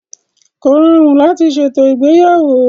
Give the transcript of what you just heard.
Kò rọrùn láti ṣètò ìgbéyàwó.